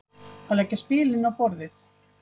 Að leggja spilin á borðið